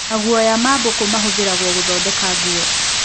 Maguoya ma mbũkũ mahũthĩragwo gũthondeka nguo.